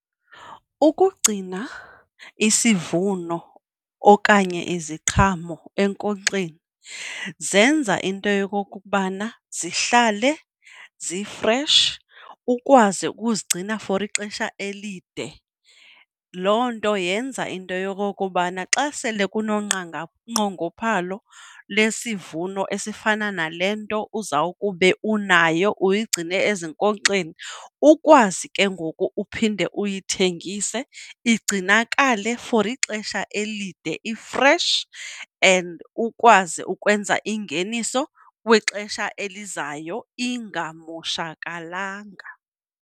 Ukugcina isivuno okanye iziqhamo enkonkxeni zenza into yokokubana zihlale zi-fresh, ukwazi ukuzigcina for ixesha elide. Loo nto yenza into yokokubana xa sele kunonqongophalo lwesivuno esifana nale nto uza kube unayo uyigcine ezinkonkxeni ukwazi ke ngoku uphinde uyithengise igcinakale for ixesha elide i-fresh and ukwazi ukwenza ingeniso kwixesha elizayo ingamoshakalanga.